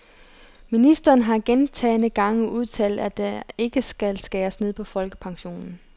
Ministeren har gentagne gange udtalt, at der ikke skal skæres ned på folkepensionen.